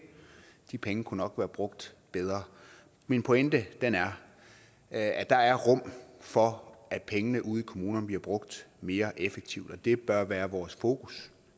de penge kunne nok være brugt bedre min pointe er at der er rum for at pengene ude i kommunerne bliver brugt mere effektivt og det bør være vores fokus